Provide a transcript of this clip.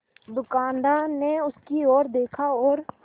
दुकानदार ने उसकी ओर देखा और